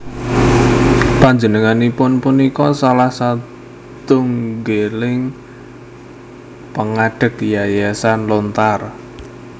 Panjenenganipun punika salah satunggiling pangadeg Yayasan Lontar